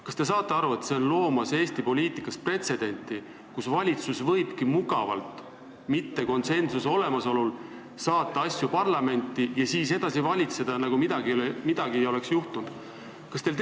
Kas te saate aru, et see on loomas Eesti poliitikas pretsedenti, nii et kui konsensust ei ole, siis valitsus võibki mugavalt saata asju parlamenti ja edasi valitseda, nagu midagi ei oleks juhtunud?